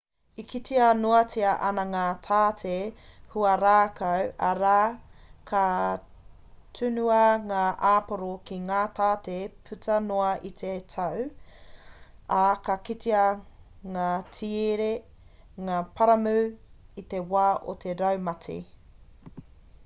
e kitea noatia ana ngā tāte huarākau arā ka tunua ngā āporo ki ngā tāte puta noa i te tau ā ka kitea ngā tiere ngā paramu i te wā o te raumati